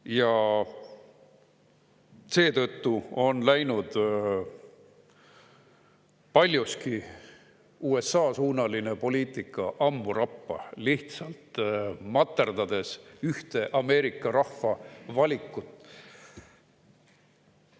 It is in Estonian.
Ja seetõttu on USA‑suunaline poliitika läinud paljuski ammu rappa, lihtsalt materdades ühte Ameerika rahva valikut.